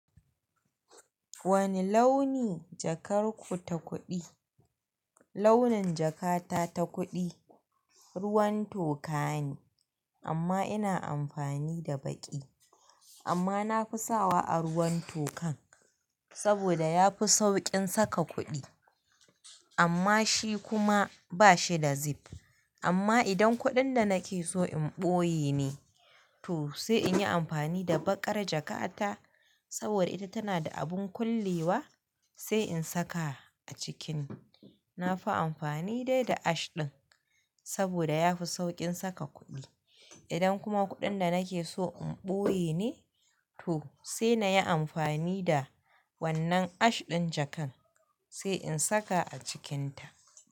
Wani launi, jakar ku ta kuɗi? Launin jakata ta kuɗi. Ruwan toka ne, amma ina amfani da baƙi. Amma nafi sawa a ruwan tokan, saboda yafi sauƙin saka kuɗi. Amma shi kuma bashida zip. Amma idan kuɗin da nake so in ɓoye ne,. To sai in yi amfani da baƙar jakata, saboda ita tana da abun kullewa sai in saka a cikinta. Nafi amfani dai, da ash ɗin. Saboda yafi sauƙin saka kuɗi idan kuma kuɗin da nake so in ɓoye ne, to sai na yi amfani da wannan ash ɗin jakan sai in saka a cikinta.